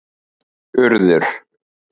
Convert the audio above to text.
Urður